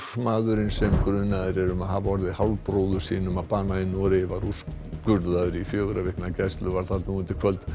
maðurinn sem grunaður er um að hafa orðið hálfbróður sínum að bana í Noregi var úrskurðaður í fjögurra vikna gæsluvarðhald nú undir kvöld